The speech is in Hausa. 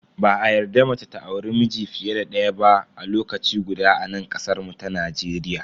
Ba a yarda mace ta auri miji fiye da daya ba a lokaci guda a nan kasar mu ta Najeriya.